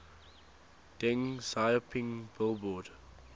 deng xiaoping billboard